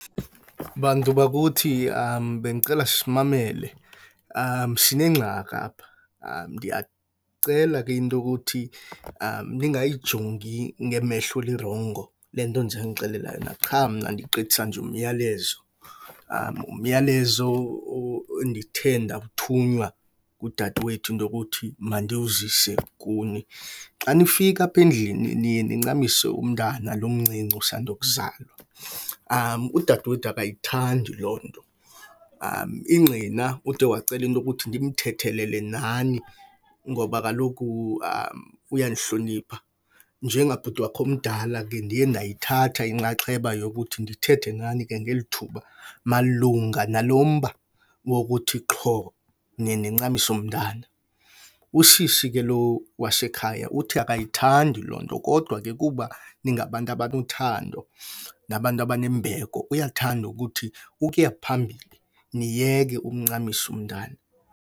Bantu bakuthi bendicela simamele, sinengxaki apha. Ndiyacela ke into yokuthi ningayijongi ngemehlo elirongo le nto ndizonixelela yona, qha mna ndigqithisa nje umyalezo. Umyalezo endithe ndawuthunywa ngudadewethu into yokuthi mandiwuzise kuni. Xa nifika apha endlini niye nincamise umntana lo umncinci usando kuzalwa . Udadewethu akayithandi loo nto. Ingqina ude wacela into yokuthi ndimthethelele nani ngoba kaloku uyanihlonipha. Njengabhuti wakhe omdala ke ndiye ndayithatha inxaxheba yokuthi ndithethe nani ngelithuba malunga nalo mba wokuthi qho niye nincamise umntana. Usisi ke lo wasekhaya uthi akayithandi loo nto kodwa ke kuba ningabantu abanothando nabantu abanembeko uyathanda ukuthi ukuya phambili niyeke umncamisa umntana.